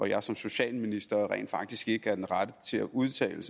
jeg som socialminister rent faktisk ikke er den rette til at udtale